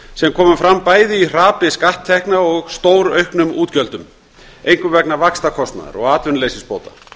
sem komu fram bæði í hrapi skatttekna og stórauknum útgjöldum einkum vegna vaxtakostnaðar og atvinnuleysisbóta